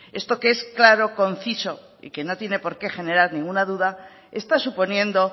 esto que es claro conciso y que no tiene porqué generar ninguna duda está suponiendo